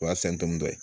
O y'a sɛn dɔn